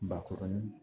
Bakɔrɔnin